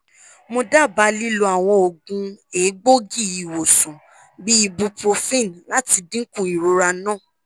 mo daba lilo awọn oogun egboogi-iwosan bi ibuprofen lati dinku irora naa